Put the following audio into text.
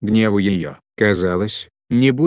гневу её казалось не будет конца